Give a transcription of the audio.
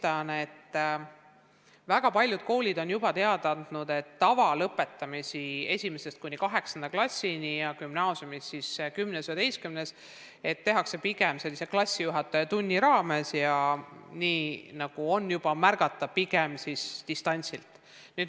Ma olen aru saanud, et väga paljud koolid on juba teada andnud, et tavalõpetamised 1.–8. klassini ja gümnaasiumis 10. ja 11. klassis tehakse pigem klassijuhatajatunni vormis ja pigem distantsilt.